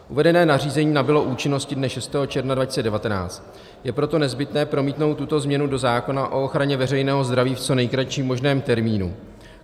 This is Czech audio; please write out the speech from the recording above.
Uvedené nařízení nabylo účinnosti dne 6. června 2019, je proto nezbytné promítnout tuto změnu do zákona o ochraně veřejného zdraví v co nejkratším možném termínu.